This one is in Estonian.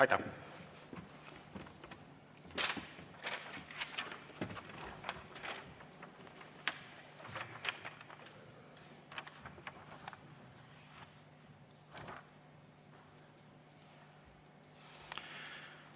Aitäh!